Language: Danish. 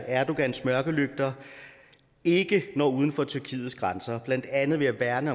erdogans mørkelygter ikke når uden for tyrkiets grænser blandt andet ved at værne